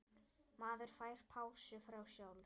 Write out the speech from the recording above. Maður fær pásu frá sjálf